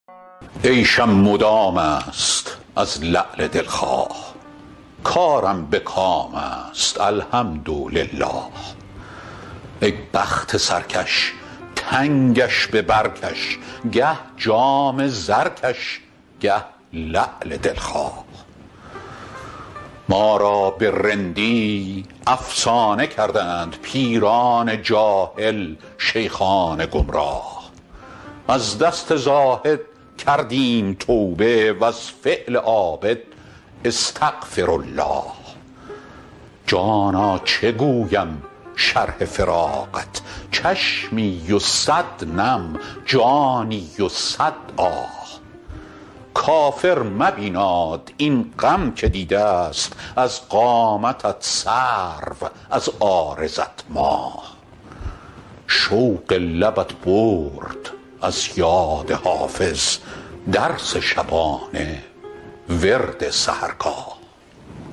عیشم مدام است از لعل دل خواه کارم به کام است الحمدلله ای بخت سرکش تنگش به بر کش گه جام زرکش گه لعل دل خواه ما را به رندی افسانه کردند پیران جاهل شیخان گمراه از دست زاهد کردیم توبه و از فعل عابد استغفرالله جانا چه گویم شرح فراقت چشمی و صد نم جانی و صد آه کافر مبیناد این غم که دیده ست از قامتت سرو از عارضت ماه شوق لبت برد از یاد حافظ درس شبانه ورد سحرگاه